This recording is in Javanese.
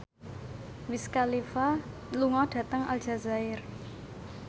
Wiz Khalifa lunga dhateng Aljazair